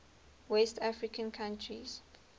west african countries